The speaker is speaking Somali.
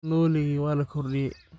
Nooliki waa la kordiye.